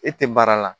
E tɛ baara la